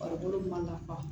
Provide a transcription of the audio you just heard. Farikolo ma ka